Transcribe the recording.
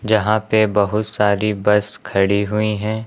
यहां पे बहुत सारी बस खड़ी हुई हैं।